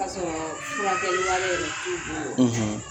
Ka sɔrɔ furakɛlia yɛrɛ t'u bolo;